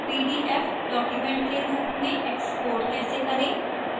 pdf document के रूप में export कैसे करें